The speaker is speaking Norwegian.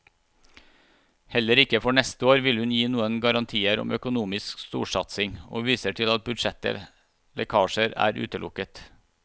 Heller ikke for neste år vil hun gi noen garantier om økonomisk storsatsing, og viser til at budsjett lekkasjer er utelukket.